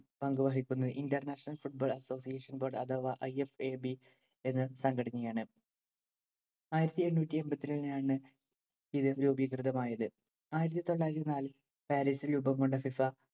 പങ്കു വഹിക്കുന്നത്‌ International Football Association Board അഥവാ IFAB എന്ന സംഘടനയാണ്‌. ആയിരത്തി എണ്ണൂറ്റി എണ്‍പത്തി രണ്ടിനാണ് ഇത് രൂപികൃതമായത്. ആയിരത്തി തൊള്ളായിരത്തി നാലില്‍ പാരിസില്‍ രൂപം കൊണ്ട FIFA